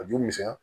A ju misɛnya